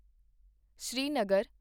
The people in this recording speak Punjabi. ਸ੍ਰੀਨਗਰ